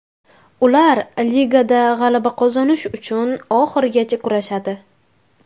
Ular ligada g‘alaba qozonish uchun oxirigacha kurashadi.